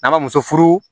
N'an ka muso furu